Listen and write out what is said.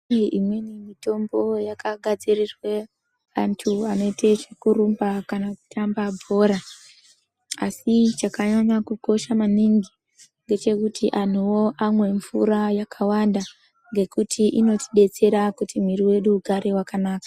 Kune mitombo yakagadzirirwa antu anoita zvekurumba kana kuita zvekutamba bhora asi chakanyanya kukosha maningi ngechekuti antuwo amwe mvura yakawanda ngekuti inotidetsera kuti mwiri wedu ugare wakanaka.